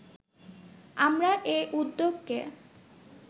আমরা এ উদ্যোগকে